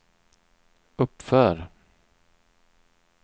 uppför